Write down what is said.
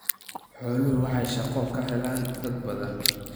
Xooluhu waxay shaqo ka helaan dad badan.